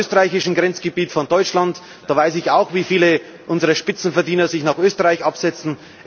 Ich komme aus dem österreichischen Grenzgebiet von Deutschland und weiß auch, wie viele unserer Spitzenverdiener sich nach Österreich absetzen.